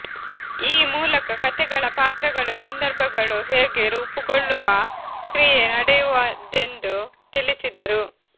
ಈ ಮೂಲಕ ಕತೆಗಳ ಪಾತ್ರಗಳು ಸಂದರ್ಭಗಳು ಹೇಗೆ ರೂಪಗೊಳ್ಳುವ ಕ್ರಿಯೆ ನಡೆಯುವದೆಂದು ತಿಳಿಸಿದರು